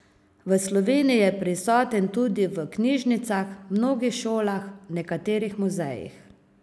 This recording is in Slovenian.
V Sloveniji je prisoten tudi v knjižnicah, mnogih šolah, nekaterih muzejih.